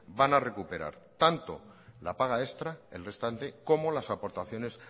van a recuperar tantola paga extra el restante como las aportaciones